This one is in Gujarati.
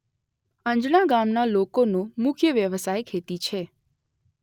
અંજણા ગામના લોકોનો મુખ્ય વ્યવસાય ખેતી છે.